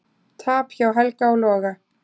Tap hjá Helga og Loga